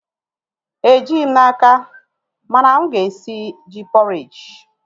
Ejighị m n'aka, mana mụ ga-esi ji pọreji